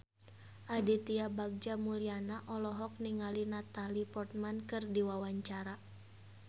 Aditya Bagja Mulyana olohok ningali Natalie Portman keur diwawancara